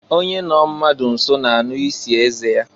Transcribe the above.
Onye nọ mmadụ nso na-anụ isi eze ya.